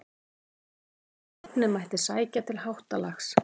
Taldi hann að nafnið mætti sækja til þessa háttalags.